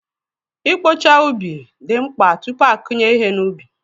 I kpocha ubi dị mkpa tupu a kụnye ihe n'ubi.